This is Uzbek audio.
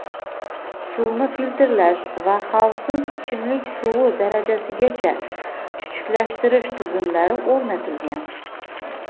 suvni filtrlash va xavfsiz ichimlik suvi darajasigacha chuchuklashtirish tizimlari o‘rnatilgan.